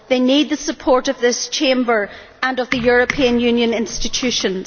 they need the support of this Chamber and of the European Union institutions.